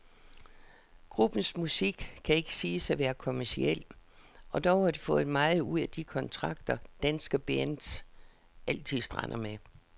Gruppens musik kan ikke siges at være kommerciel, og dog har de fået meget ud af de kontrakter, danske bands altid strander med.